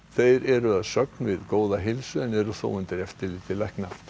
þeir eru að sögn við góða heilsu en eru þó undir eftirliti lækna